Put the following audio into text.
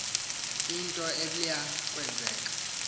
into eblya kwenzeka